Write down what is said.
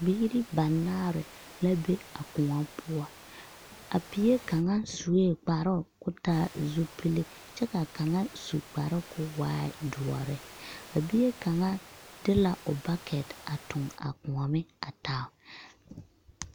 Biiri banaare la be a kõɔ poɔ. A bie kaŋa suee kparoo koo taa zupili kyɛ ka kaŋa su kparoo koo waa doɔre. A bie kaŋa de la o bakɛte a toŋ a koɔme a taa.